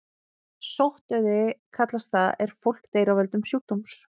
Sóttdauði kallast það er fólk deyr af völdum sjúkdóms.